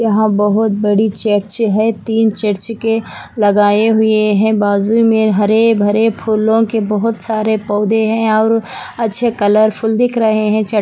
और बहुत बड़ी चर्च है तीन चर्च के लगाए हुए है बाज़ू में हरे भरे फूलो के बहुत सारे पौधे है और अच्छे कलरफुल दिख रहे है च--